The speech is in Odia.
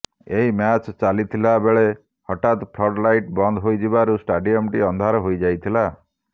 ଏହି ମ୍ୟାଚ ଚାଲିଥିବାବେଳେ ହଠାତ୍ ଫ୍ଲଡ ଲାଇଟ ବନ୍ଦ ହୋଇଯିବାରୁ ଷ୍ଟାଡିୟମଟି ଅନ୍ଧାର ହୋଇଯାଇଥିଲା